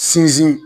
Sinsin